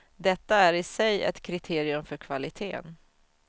Detta är i sig ett kriterium för kvaliteten.